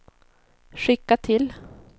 skicka till